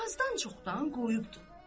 Azdan-çoxdan qoyubdur.